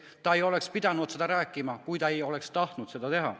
Ta ei oleks pidanud seda rääkima, kui ta ei oleks tahtnud seda teha.